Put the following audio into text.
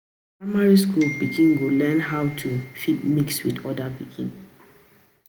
Na for primary school pikin go learn how to fit mix with oda pikin